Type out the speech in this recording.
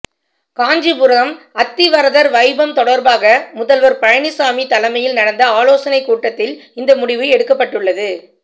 காஞ்சிபுரம் அத்திவரதர் வைபம் தொடர்பாக முதல்வர் பழனிசாமி தலைமையில் நடந்த ஆலோசனை கூட்டத்தில் இந்த முடிவு எடுக்கப்பட்டுள்ளது